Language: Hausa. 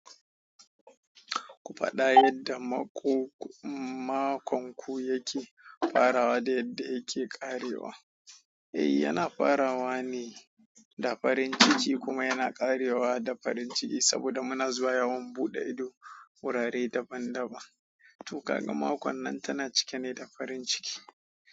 Ku faɗa yadda makonku yake farawa da yadda yake ƙarewa. Ehh uana farawa ne da farin ciki kuma yana karewa da farin ciki saboda muna zuwa yawon bude ido wurare daban daban to ka ga makon nan tana cike ne da farin ciki.